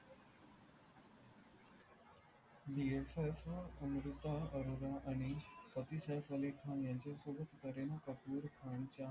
अमृता अरोरा आणि सैफ अली खान यांच्या सोबत करीना कपूर खानच्या